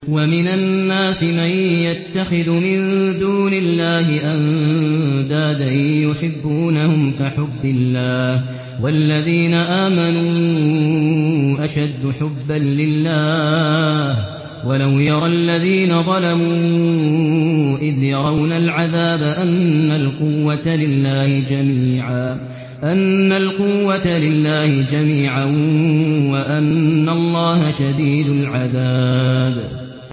وَمِنَ النَّاسِ مَن يَتَّخِذُ مِن دُونِ اللَّهِ أَندَادًا يُحِبُّونَهُمْ كَحُبِّ اللَّهِ ۖ وَالَّذِينَ آمَنُوا أَشَدُّ حُبًّا لِّلَّهِ ۗ وَلَوْ يَرَى الَّذِينَ ظَلَمُوا إِذْ يَرَوْنَ الْعَذَابَ أَنَّ الْقُوَّةَ لِلَّهِ جَمِيعًا وَأَنَّ اللَّهَ شَدِيدُ الْعَذَابِ